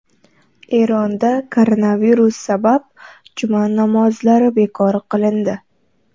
Eronda koronavirus sabab juma namozlari bekor qilindi.